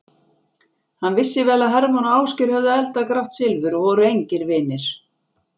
Hann vissi vel að Hermann og Ásgeir höfðu eldað grátt silfur og voru engir vinir.